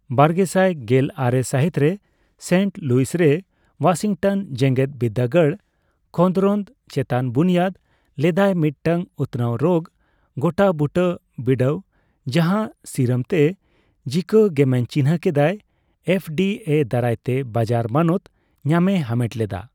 ᱵᱟᱨᱜᱮᱥᱟᱭ ᱜᱮᱞ ᱟᱨᱮ ᱥᱟᱦᱤᱛ ᱨᱮ, ᱥᱮᱱᱴᱩ ᱞᱩᱭᱥᱮᱨ ᱳᱣᱟᱥᱤᱝᱴᱚᱱ ᱡᱮᱜᱮᱫ ᱵᱤᱫᱽᱫᱟᱜᱟᱲ ᱠᱷᱚᱸᱫᱽᱨᱚᱸᱫ ᱪᱮᱛᱟᱱ ᱵᱩᱱᱤᱭᱟᱫᱽ ᱞᱮᱫᱟᱭ ᱢᱤᱫᱴᱟᱝ ᱩᱛᱱᱟᱣ ᱨᱳᱜ ᱜᱚᱴᱟ ᱵᱩᱴᱟᱹ ᱵᱤᱰᱟᱹᱣ, ᱡᱟᱦᱟ ᱥᱤᱨᱟᱢ ᱛᱮ ᱡᱤᱠᱟ ᱜᱮᱢᱮᱧ ᱪᱤᱱᱦᱟᱹ ᱠᱮᱫᱟᱭ, ᱮᱯᱷ ᱰᱤ ᱮ ᱫᱟᱨᱟᱛᱮ ᱵᱟᱡᱟᱨ ᱢᱟᱱᱚᱛ ᱧᱟᱢᱮ ᱦᱟᱢᱮᱴ ᱞᱮᱫᱟ᱾